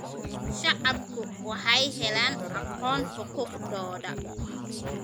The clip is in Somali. Shacabku waxay helaan aqoon xuquuqdooda.